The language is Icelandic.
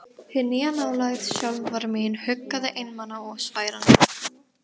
Hin nýja nálægð sjálfrar mín huggaði einmana og sveran líkamann.